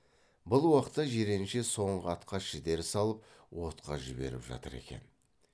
бұл уақытта жиренше соңғы атқа шідер салып отқа жіберіп жатыр екен